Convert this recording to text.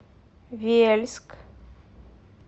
вельск